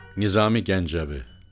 Nizami Gəncəvi.